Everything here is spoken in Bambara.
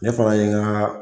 Ne fana ye nka